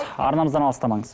арнамыздан алыстамаңыз